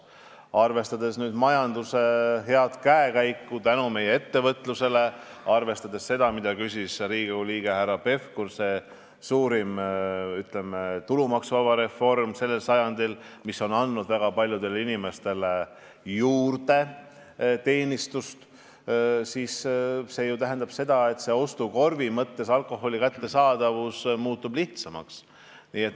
Arvestades majanduse head käekäiku ja arvestades seda, mille kohta küsis Riigikogu liige härra Pevkur, et suurim tulumaksureform sellel sajandil on andnud väga paljudele inimestele lisaraha, on alkohol ostukorvi mõttes muutunud kättesaadavamaks.